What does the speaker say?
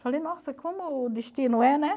Falei, nossa, como o destino é, né?